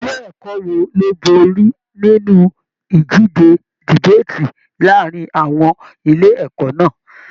Ilé ẹ̀kọ́ wo ló borí nínú ìdíje debaati láàrín àwọn ilé ẹ̀kọ́ náà?